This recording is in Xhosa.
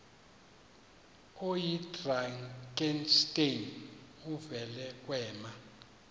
oyidrakenstein uvele kwema